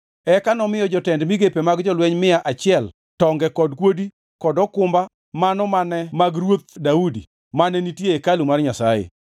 Eka nomiyo jotend migepe mag jolweny mia achiel tonge kod kuodi kod okumba mano mane mag Ruoth Daudi mane nitie e hekalu mar Nyasaye.